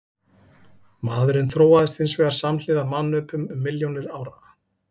Maðurinn þróaðist hins vegar samhliða mannöpum um milljónir ára.